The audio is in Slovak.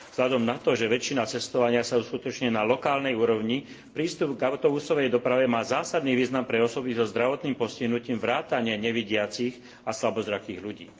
Vzhľadom na to, že väčšina cestovania sa uskutočňuje na lokálnej úrovni, prístup k autobusovej doprave má zásadný význam pre osoby so zdravotným postihnutím vrátane nevidiacich a slabozrakých ľudí.